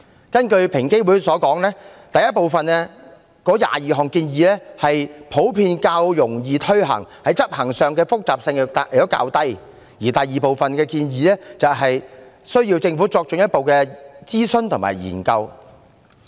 根據平機會所言，第一部分的22項建議普遍較容易推行，在執行上的複雜性較低，而第二部分建議需要政府作進一步諮詢和研究。